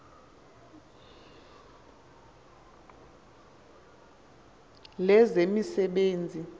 lezemisebenzi